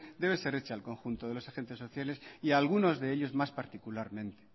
debe ser hecha al conjunto de los agentes sociales y algunos de ellos más particularmente